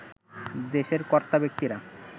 দেশের কর্তাব্যক্তিরা